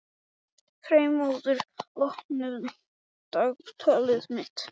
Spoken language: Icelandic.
Freymóður, opnaðu dagatalið mitt.